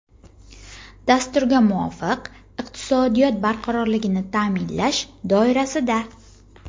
Dasturga muvofiq, iqtisodiyot barqarorligini taʼminlash doirasida:.